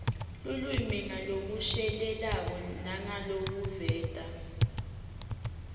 lulwimi ngalokushelelako nangalokuveta